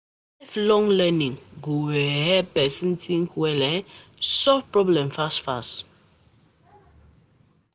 Lifelong um learning go um help person think well and um solve problem fast.